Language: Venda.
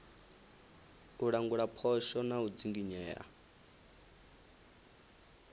u langula phosho na u dzinginyea